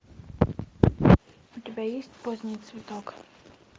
у тебя есть поздний цветок